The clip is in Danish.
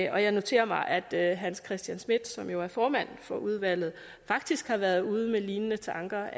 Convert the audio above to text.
og jeg noterer mig at herre hans christian schmidt som jo er formand for udvalget faktisk har været ude med lignende tanker